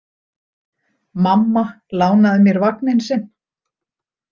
Mamma lánaði mér vagninn sinn.